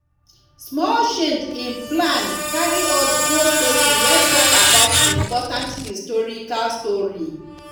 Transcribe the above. small change in plan carry us go statue wey talk about important historical story